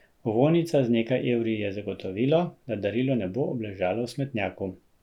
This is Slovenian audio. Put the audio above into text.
Ovojnica z nekaj evri je zagotovilo, da darilo ne bo obležalo v smetnjaku.